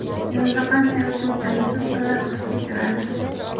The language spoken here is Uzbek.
Yozda qanday uslubdagi sumkalar urfga kiradi?